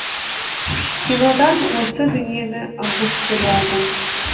кинодан осы дүниені анық көре алдым